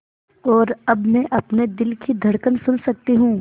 और अब मैं अपने दिल की धड़कन सुन सकती हूँ